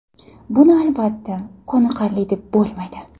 Buni albatta qoniqarli deb bo‘lmaydi.